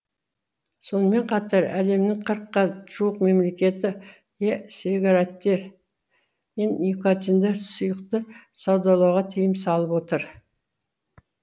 сонымен қатар әлемнің қырыққа жуық мемлекеті э сигареттер мен никотиндік сұйықты саудалауға тыйым салып отыр